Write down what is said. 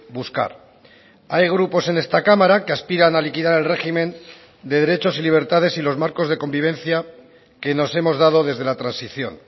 buscar hay grupos en esta cámara que aspiran a liquidar el régimen de derechos y libertades y los marcos de convivencia que nos hemos dado desde la transición